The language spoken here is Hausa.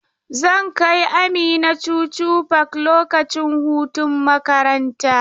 Zan kai Amina Chuchu park lokacin hutun makaranta.